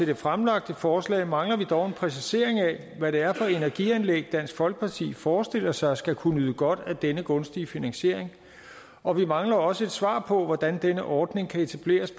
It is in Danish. det fremsatte forslag mangler vi dog en præcisering af hvad det er for energianlæg dansk folkeparti forestiller sig skal kunne nyde godt af denne gunstige finansiering og vi mangler også et svar på hvordan denne ordning kan etableres